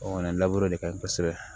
O kɔni laburu de ka ɲi kosɛbɛ